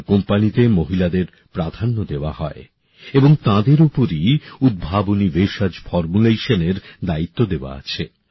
তাঁর কোম্পানিতে মহিলাদের প্রাধান্য দেয়া হয় এবং তাঁদের ওপরই উদ্ভাবনী ভেষজ ফর্মুলেশনএর দায়িত্ব দেওয়া আছে